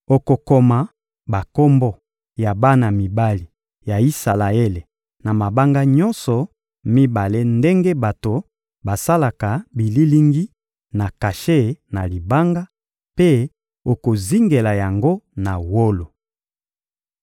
Okokoma bakombo ya bana mibali ya Isalaele na mabanga nyonso mibale ndenge bato basalaka bililingi na kashe na libanga; mpe okozingela yango na wolo.